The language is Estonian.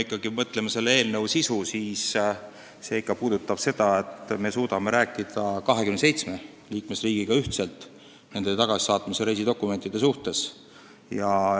Aga kui mõelda eelnõu sisu peale, siis see on ikka see, et me suudame 27 liikmesriigiga rääkida nende inimeste ühtsest tagasisaatmise reisidokumendist.